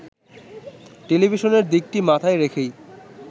টেলিভিশনের দিকটি মাথায় রেখেই